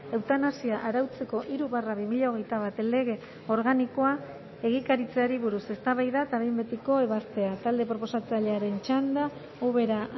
eutanasia arautzeko hiru barra bi mila hogeita bat lege organikoa egikaritzeari buruz eztabaida eta behin betiko ebazpena talde proposatzailearen txanda ubera